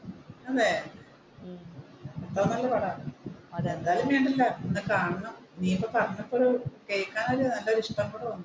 അതെ അത്രോം നല്ല പടമാണ്? നീയിപ്പോ പറഞ്ഞപ്പോ ഒരു കേൾക്കാൻ നല്ല ഒരു